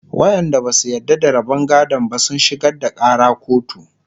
waƴanda Basu yarda da rabon gadon ba sun shigar da Ƙara kotu